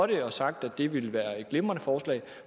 det og sagt at det ville være et glimrende forslag